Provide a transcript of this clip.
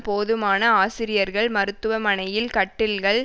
போதுமான ஆசிரியர்கள் மருத்துவமனையில் கட்டில்கள்